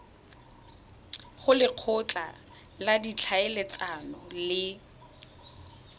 go lekgotla la ditlhaeletsano le